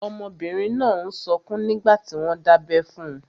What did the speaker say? Ọmọbìnrin náà n sọkún nígbàtí wọ́n n dábẹ́ fun.